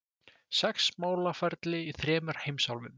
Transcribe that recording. Sex málaferli í þremur heimsálfum